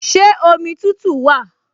Ṣé omi tútù wà?